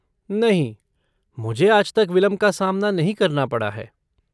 नहीं, मुझे आज तक विलंब का सामना नहीं करना पड़ा है।